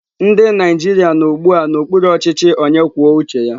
Ndị Naijiria nọ ugbu a n'okpuru ọchịchị onye kwuo uche ya.